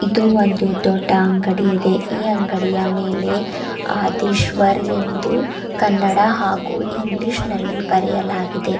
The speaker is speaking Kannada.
ಇದು ಒಂದು ದೊಡ್ಡ ಅಂಗಡಿ ಇದೆ ಈ ಅಂಗಡಿಯ ಮೇಲೆ ಆದಿಸ್ವರ್ ಎಂದು ಕನ್ನಡ ಹಾಗು ಇಂಗ್ಲಿಷ್ ನಲ್ಲಿ ಬರೆಯಲಾಗಿದೆ.